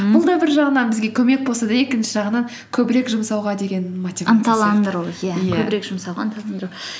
бұл да бір жағынан бізге көмек болса да екінші жағынан көбірек жұмсауға деген иә көбірек жұмсауға ынталандыру